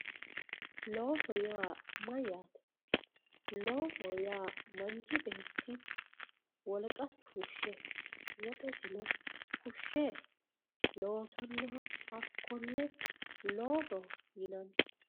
looso yaa mayyaate loosoho yaa manchi beeti wolqasi fushshe woxesino fushshe loosannoha hakkonne loosoho yinanni